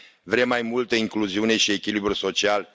Vrem mai multă incluziune și echilibru social.